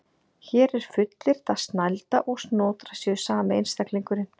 Hér er fullyrt að Snælda og Snotra séu sami einstaklingurinn.